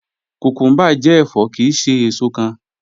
Kúkúmbà jẹ́ ẹ̀fọ́ kíì ṣè èṣò kán